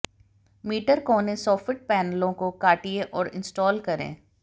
metre कोने soffit पैनलों को काटिये और इंस्टॉल करें